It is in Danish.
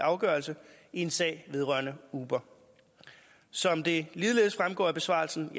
afgørelse i en sag vedrørende uber som det ligeledes fremgår af besvarelsen